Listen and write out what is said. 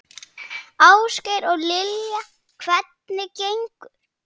Ásgeir: Og Lilja, hvernig gengur?